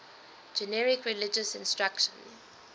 generic religious instruction